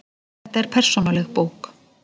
Þetta er persónuleg bók.